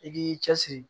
I k'i cɛ siri